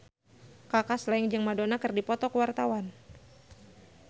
Kaka Slank jeung Madonna keur dipoto ku wartawan